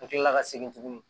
Ka kila ka segin tuguni